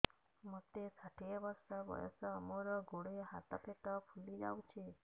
ମୋତେ ଷାଠିଏ ବର୍ଷ ବୟସ ମୋର ଗୋଡୋ ହାତ ପେଟ ଫୁଲି ଯାଉଛି